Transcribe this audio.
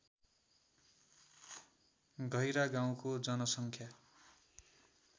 गैह्रागाउँको जनसङ्ख्या